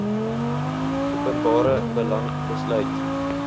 openbare belang besluit